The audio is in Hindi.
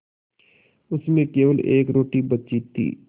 उसमें केवल एक रोटी बची थी